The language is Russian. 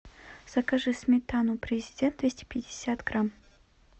закажи сметану президент двести пятьдесят грамм